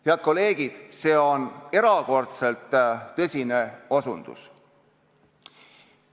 Hea kolleegid, see on erakordselt tõsine osutus.